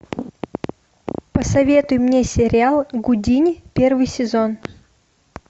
посоветуй мне сериал гудини первый сезон